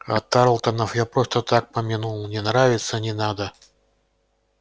а тарлтонов я просто так помянул не нравятся не надо